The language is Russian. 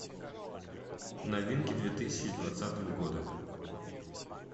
новинки две тысячи двадцатого года